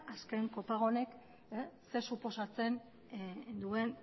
azken kopago honek zer suposatzen duen